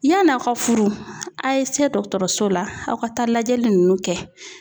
Yann'aw ka furu, aw ye se dɔgɔtɔrɔso la aw ka taa lajɛli ninnu kɛ.